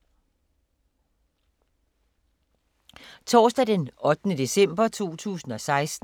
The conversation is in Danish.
Torsdag d. 8. december 2016